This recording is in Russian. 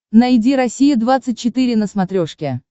найди россия двадцать четыре на смотрешке